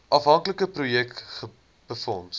aanvanklike projek befonds